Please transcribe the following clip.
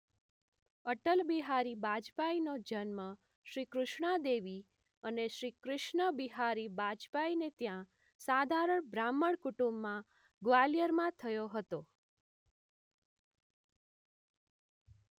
અટલ બિહારી વાજપેયીનો જન્મ શ્રી કૃષ્ણાદેવી અને શ્રી કૃષ્ણ બિહારી વાજપેયીને ત્યાં સાધારણ બ્રાહ્મણ કુટુંબમાં ગ્વાલિયરમાં થયો હતો